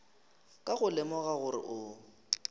ka go lemoga gore o